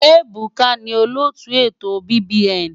Ebuka ni olóòtú ètò BBN.